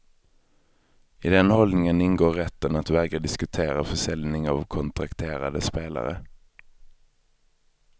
I den hållningen ingår rätten att vägra diskutera försäljning av kontrakterade spelare.